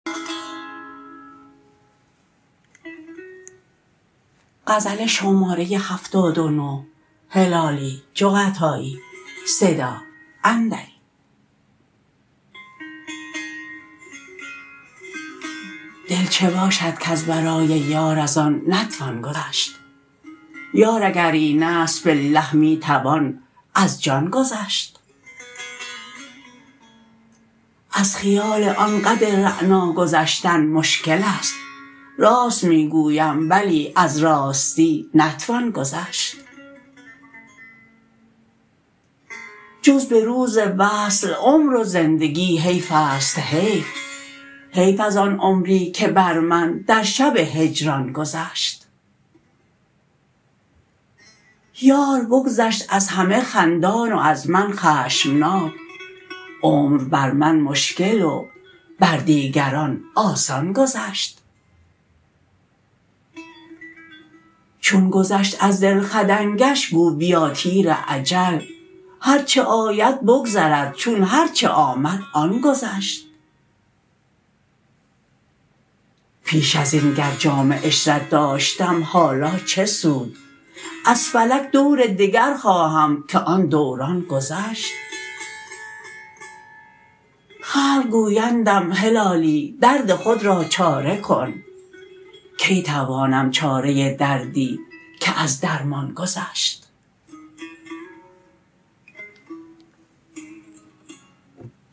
دل چه باشد کز برای یار ازان نتوان گذشت یار اگر اینست بالله می توان از جان گذشت از خیال آن قد رعنا گذشتن مشکلست راست میگویم بلی از راستی نتوان گذشت جز بروز وصل عمر و زندگی حیفست حیف حیف از آن عمری که بر من در شب هجران گذشت یار بگذشت از همه خندان و از من خشمناک عمر بر من مشکل و بر دیگران آسان گذشت چون گذشت از دل خدنگش گو بیا تیر اجل هر چه آید بگذرد چون هر چه آمد آن گذشت پیش ازین گر جام عشرت داشتم حالا چه سود از فلک دور دگر خواهم که آن دوران گذشت خلق گویندم هلالی درد خود را چاره کن کی توانم چاره دردی که از درمان گذشت